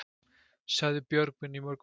Sagði Björgvin í morgun.